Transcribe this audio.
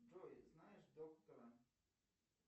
джой знаешь доктора